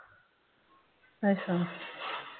ਅੱਛਾ